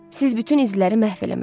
Siz bütün izləri məhv eləməlisiz.